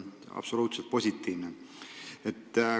Absoluutselt positiivne.